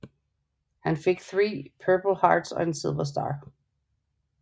Han fik 3 Purple Hearts og en Silver Star